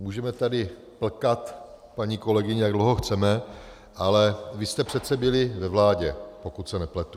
Můžeme tady plkat, paní kolegyně, jak dlouho chceme, ale vy jste přece byli ve vládě, pokud se nepletu.